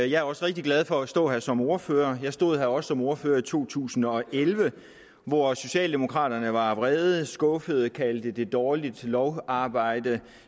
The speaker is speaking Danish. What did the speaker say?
jeg er også rigtig glad for at stå her som ordfører jeg stod her også som ordfører i to tusind og elleve hvor socialdemokraterne var vrede skuffede kaldte det dårligt lovarbejde og